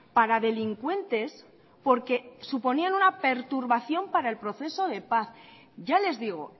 para delincuentes porque suponían una perturbación para el proceso de paz ya les digo